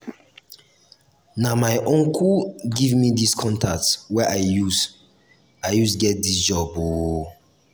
na my uncle give me di contact wey i use i use get dis job o.